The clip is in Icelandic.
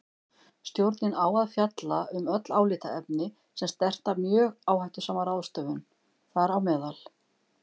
Stjórnin á að fjalla um öll álitaefni sem snerta mjög áhættusama ráðstöfun, þám.